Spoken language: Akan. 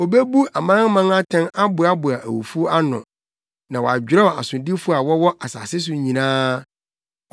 Obebu amanaman atɛn aboaboa awufo ano; na wadwerɛw asodifo a wɔwɔ asase so nyinaa.